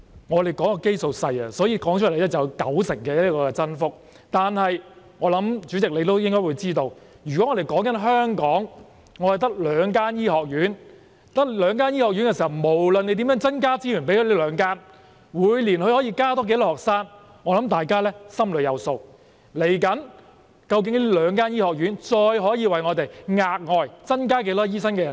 因為基數細小，所以可以說成有九成增幅，但我相信代理主席也知道，香港只有兩間醫學院，不論我們如何向它們增撥資源，它們每年可以增加多少名學生，相信大家也心中有數，而接下來，這兩間醫學院究竟可以再為我們額外增加多少名醫生人手？